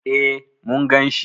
E, mun gan shi.